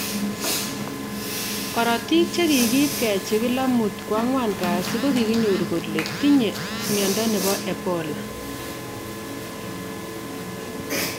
Korotik chekikiip kechigil amut koanguan kasii koginyor kole tinye Mwindo nebo Ebola